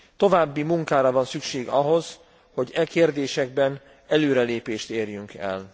További munkára van szükség ahhoz, hogy e kérdésekben előrelépést érjünk el.